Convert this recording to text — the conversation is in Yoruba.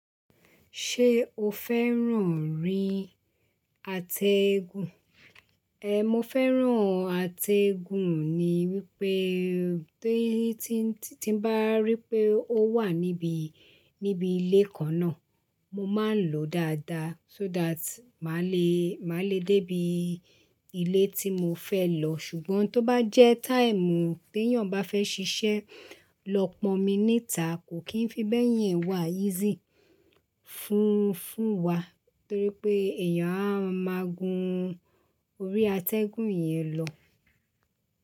Ṣé o fẹ́ràn orí atẹ́gùn? Ehn, mo fẹ́ràn atẹ́gùn ni wípé tí, tí, tí n bá rí pé ó wà níbi, níbi ilé kan náà mo máa ń lòó dáadáa so that màá le, màá le dé ibi ilé tí mo fẹ́ lọ. Ṣùgbọ́n tó bá jẹ́ táìmù tí èèyàn bá fẹ́ ṣiṣẹ́ lọ pọ̀ mí níta kò kín fi bẹ́yìn wá easy fún, fún wa torí pé èèyàn a máa gun orí atẹ́gùn yẹn lọ.